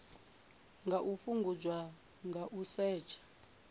nga fhungudzwa nga u setsha